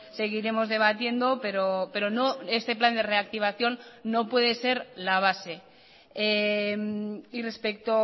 seguiremos debatiendo pero no este plan de reactivación no puede ser la base y respecto